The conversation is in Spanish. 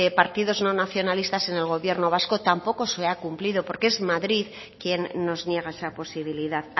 partidos no nacionalistas en el gobierno vasco tampoco se ha cumplido porque es madrid quien nos niega esa posibilidad